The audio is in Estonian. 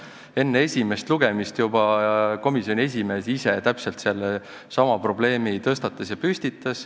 Juba enne esimest lugemist tõstatas komisjoni esimees ise täpselt sellesama probleemi.